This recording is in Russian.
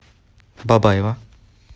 бабаево